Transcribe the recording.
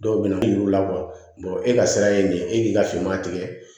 Dɔw bɛ na yir'u la e ka sira ye nin ye e k'i ka finma tigɛ